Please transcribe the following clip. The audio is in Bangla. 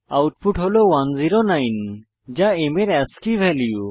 আউটপুট হল 109 যা m এর আস্কী ভ্যালু